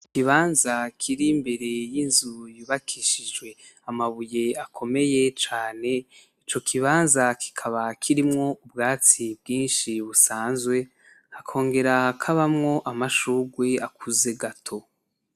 Ikibanza kiri imbere y'inzu hubakishijwe amabuye akomeye cane , ico kibanza kikaba kirimwo ubwatsi bwinshi busanzwe , hakongera hakabamwo amashurwe akuze gato.